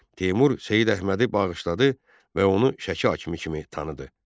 Teymur Seyid Əhmədi bağışladı və onu Şəki hakimi kimi tanıdı.